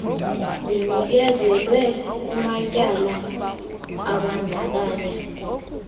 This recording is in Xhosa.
zinikezelwe kumatyala abandakanya